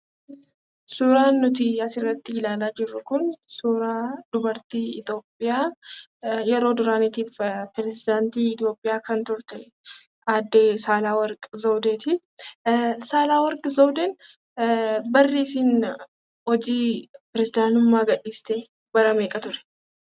Suuraan nuti asirratti ilaalaa jirru kun suuraa dubartii Itoophiyaa, yeroo duraanii prezidaanti Itoophiyaa kan turte, aaddee Saahleworq Zewudeeti. Saahleworq Zewudeen barri isheen hojii prezidaantummaa gadhiiste bara meeqa ture?